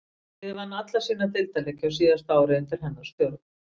Liðið vann alla sína deildarleiki á síðasta ári undir hennar stjórn.